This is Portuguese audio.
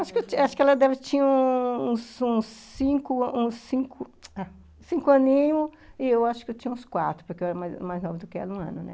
Acho que ela tinha uns cinco, cinco ah, cinco aninhos e eu acho que eu tinha uns quatro, porque eu era mais nova do que ela um ano, né?